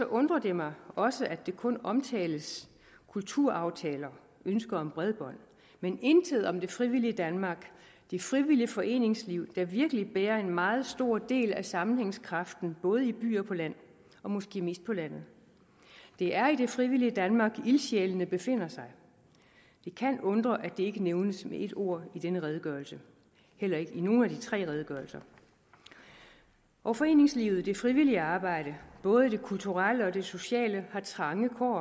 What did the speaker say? undrer det mig også at der kun omtales kulturaftaler og ønsker om bredbånd men intet om det frivillige danmark det frivillige foreningsliv der virkelig bærer en meget stor del af sammenhængskraften både by og på land og måske mest på landet det er i det frivillige danmark ildsjælene befinder sig det kan undre at det ikke nævnes med et ord i denne redegørelse heller ikke i nogen af de tre redegørelser og foreningsliv det frivillige arbejde både det kulturelle og det sociale har trange